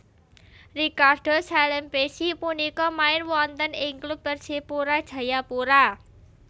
Ricardo Salampessy punika main wonten ing klub Persipura Jayapura